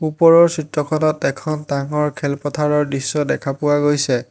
ওপৰৰ চিত্ৰখনত এখন ডাঙৰ খেলপথাৰৰ দৃশ্য দেখা পোৱা গৈছে।